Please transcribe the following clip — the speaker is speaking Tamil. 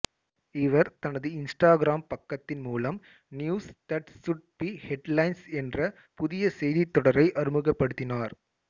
இவர் தனது இன்ஸ்ட்டாகிராம் பக்கத்தின் மூலம் news that should be headlines என்ற புதிய செய்தித் தொடரை அறிமுகப்படுத்தினார்